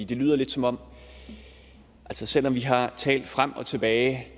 det lyder lidt som om selv om vi har talt frem og tilbage